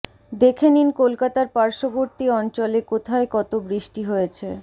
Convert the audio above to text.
দেখে নিন কলকাতার পার্শ্ববর্তী অঞ্চলে কোথায় কত বৃষ্টি হয়েছে